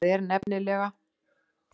Það er nefnilega.